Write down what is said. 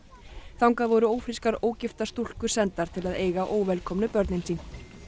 þangað voru ófrískar ógiftar stúlkur sendar til að eiga börnin sín